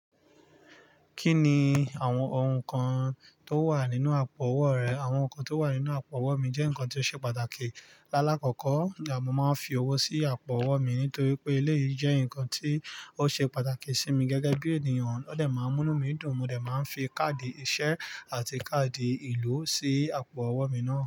Kí ni àwọn oun kan to wà nínú àpò owó rẹ? Àwọn oun kan to wà nínú àpò owó mi jẹ́ ǹkan tí ó ṣe pàtàkì. Lálá kọ́kọ́, mo máa ń fi owó sí àpò owó mi nítorí pé eléyìí jẹ́ ǹkan tí ó ṣe pàtàkì sí mi gẹ́gẹ́ bí ènìyàn. Ó de máa ń mú nu mí dùn. Mo de máa ń fi káàdì ìṣe àti káàdì ìlú sí àpò owó mi ná.